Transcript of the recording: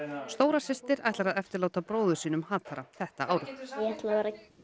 stóra systir ætlar að eftirláta bróður sínum þetta árið ég ætla að vera